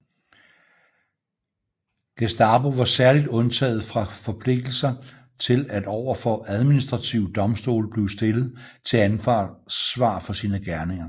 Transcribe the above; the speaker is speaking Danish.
Gestapo var særligt undtaget fra forpligtelse til at over for administrative domstole blive stillet til ansvar for sine gerninger